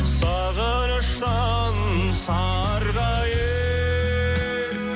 сағыныштан сарғайып